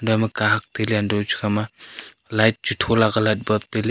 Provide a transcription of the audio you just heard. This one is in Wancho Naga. ekhama kahak tailey untohley hantoh ley chu khama light chu thola kia light bulb tailey.